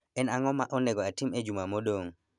En ang'o ma onego atim e juma modong'